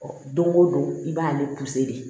don go don i b'ale de